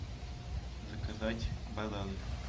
заказать бананы